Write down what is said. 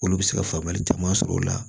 Olu bɛ se ka faamuyali caman sɔrɔ o la